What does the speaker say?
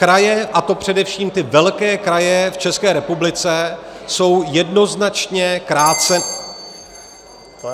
Kraje, a to především ty velké kraje v České republice, jsou jednoznačně kráce -